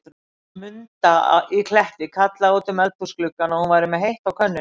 Hún Munda í Kletti kallaði út um eldhúsgluggann, að hún væri með heitt á könnunni.